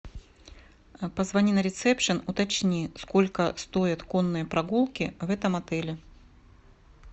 позвони на ресепшн уточни сколько стоят конные прогулки в этом отеле